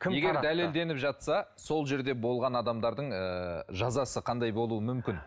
егер дәлелденіп жатса сол жерде болған адамдардың ыыы жазасы қандай болуы мүмкін